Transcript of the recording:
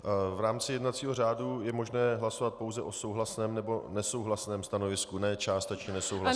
V rámci jednacího řádu je možné hlasovat pouze o souhlasném nebo nesouhlasném stanovisku, ne částečně nesouhlasném.